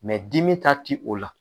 dimi ta ti o la